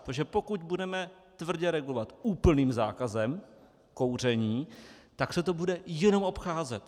Protože pokud budeme tvrdě regulovat úplným zákazem kouření, tak se to bude jenom obcházet.